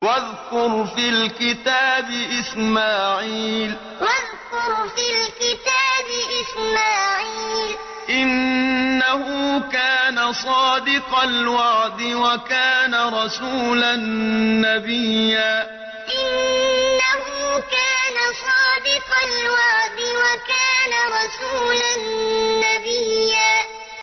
وَاذْكُرْ فِي الْكِتَابِ إِسْمَاعِيلَ ۚ إِنَّهُ كَانَ صَادِقَ الْوَعْدِ وَكَانَ رَسُولًا نَّبِيًّا وَاذْكُرْ فِي الْكِتَابِ إِسْمَاعِيلَ ۚ إِنَّهُ كَانَ صَادِقَ الْوَعْدِ وَكَانَ رَسُولًا نَّبِيًّا